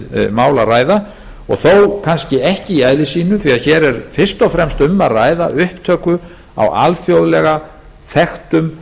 mál að ræða og þó kannski ekki í eðli sínu því að hér er fyrst og fremst um að ræða upptöku á alþjóðlega þekktum